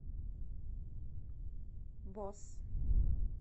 босс